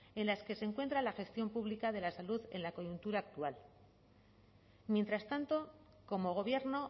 en las que se encuentra la gestión pública de la salud en la coyuntura actual mientras tanto como gobierno